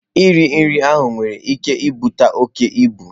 Nri riri ahụ nwere ike ibute oke ibu.